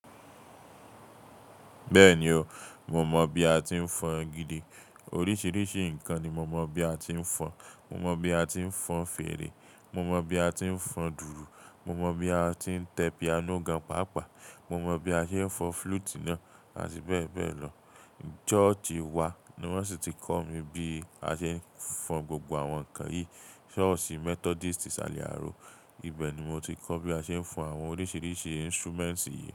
Bẹ́ẹ̀ni o, mo mọ bí a ti ń fọn gidi. Oríṣiríṣi nǹkan ni mo mọ̀ bí a ti ń fọn. Mo mọ̀ bí a ti ń fọn fèrè, mo mọ̀ bí a ti ń fọb dùùrù, mo mọ̀ bí a ti ń tẹ piano gan pàápàá, mo mọ̀ bí a ṣe ń fọn flute náà àti bẹ́ẹ̀ bẹ́ẹ̀ lọ. Sọ́ọ̀sí wa ni wọ́n sì ti kọ́ mi bí a ṣe ń fọn gbogbo àwọn nǹkan yìí. Ṣọ́ọ̀ṣì Methodist ìsàlẹ̀ ààrọ̀, ibẹ̀ ni mo ti kọ́ bí a ṣe ń fọn àwọn oríṣiríṣi instruments yìí.